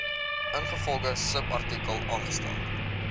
ingevolge subartikel aangestel